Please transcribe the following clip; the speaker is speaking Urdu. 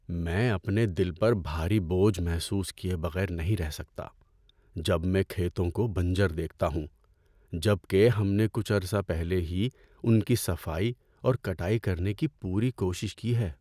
‏میں اپنے دل پر بھاری بوجھ محسوس کیے بغیر نہیں رہ سکتا جب میں کھیتوں کو بنجر دیکھتا ہوں، جب کہ ہم نے کچھ عرصہ پہلے ہی ان کی صفائی اور کٹائی کرنے کی پوری کوشش کی ہے۔